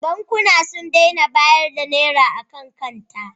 Bankuna sun daina bayar da Naira a kan kanta.